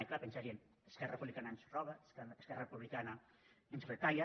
i clar pensarien esquerra republicana ens roba esquerra republicana ens retalla